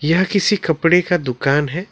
यह किसी कपड़े का दुकान है।